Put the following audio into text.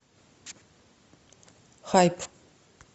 хайп